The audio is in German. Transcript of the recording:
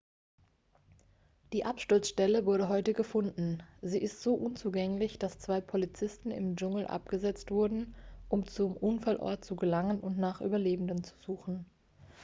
die absturzstelle wurde heute gefunden sie ist so unzugänglich dass zwei polizisten im dschungel abgesetzt wurden um zum unfallort zu gelangen und nach überlebenden zu suchen